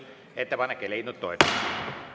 Ettepanek ei leidnud toetust.